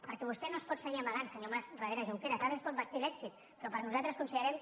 perquè vostè no es pot seguir amagant senyor mas darrere junqueras ara es pot vestir d’èxit però nosaltres considerem